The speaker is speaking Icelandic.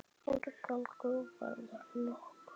Árangur varð nokkur.